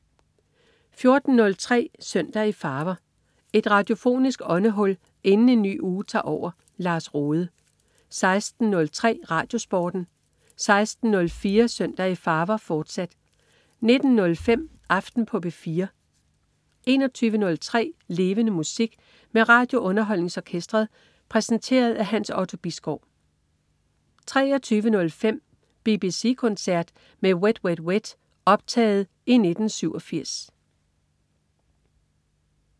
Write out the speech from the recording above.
14.03 Søndag i farver. Et radiofonisk åndehul inden en ny uge tager over. Lars Rohde 16.03 RadioSporten 16.04 Søndag i farver, fortsat 19.05 Aften på P4 21.03 Levende Musik. Med RadioUnderholdningsOrkestret. Præsenteret af Hans Otto Bisgaard 23.05 BBC koncert med Wet Wet Wet. Optaget i 1987